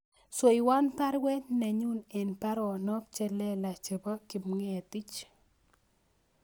Swewon baruet nenyun en baronok chelelach chebo Kipngetich